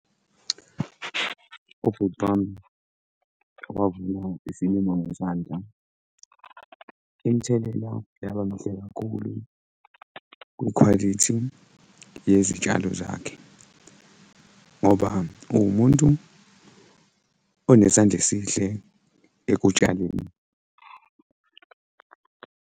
Ubhuti wami owavuna isilimo ngezandla, imithelela yabamihle kakhulu kwikhwalithi yezitshalo zakhe ngoba uwumuntu onesandla esihle ekutshaleni.